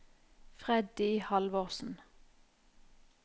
Freddy Halvorsen